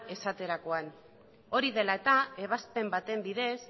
esaterakoan hori dela eta ebazpen baten bidez